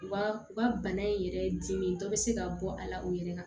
Wa u ka bana in yɛrɛ ye dimi dɔ bɛ se ka bɔ a la u yɛrɛ kan